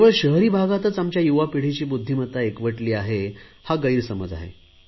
केवळ शहरी भागातच आमच्या युवा पिढीची बुध्दीमत्ता एकवटली आहे हा गैरसमज आहे